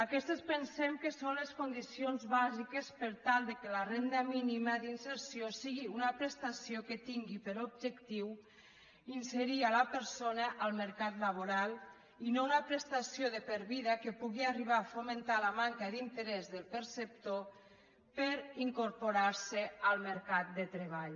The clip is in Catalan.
aquestes pensem que són les condicions bàsiques per tal que la renda mínima d’inserció sigui una prestació que tingui per objectiu inserir la persona al mercat laboral i no una prestació de per vida que pugui arribar a fomentar la manca d’interès del perceptor per incorporar se al mercat de treball